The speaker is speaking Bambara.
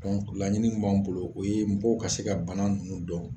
laɲini min b'an bolo o ye mɔgɔw ka se ka bana ninnu dɔn